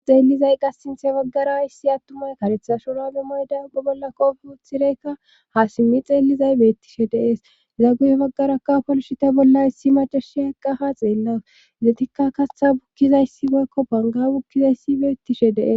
xeellizay qas sinthe baggara issi attumay karetha shorade moyday ubba bolla qoofi huthireykka ha simmi xeellizay beettishe deees za guye baggaraka polshite bollayssi machashe heqqa ha xeellaus izzatikka kasha bukkizayssi meykko bonga bukkizayssi beettishe dees